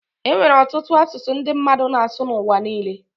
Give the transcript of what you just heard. e nwere ọtụtụ asụsụ ndị mmadụ na-asụ n’ụwa niile